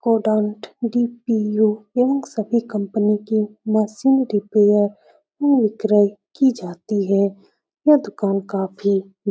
DPO. इन सभी company के मशीन रिपेयर की जाती है। यह दुकान काफी --